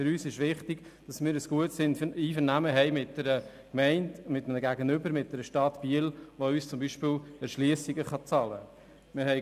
Für sie sei es wichtig, ein gutes Einvernehmen mit der Gemeinde Biel zu haben, die beispielsweise Erschliessungen für sie bezahlen könne.